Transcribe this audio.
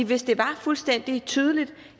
hvis det var fuldstændig tydeligt